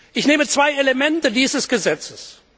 Ich nehme zwei Elemente dieses Gesetzes.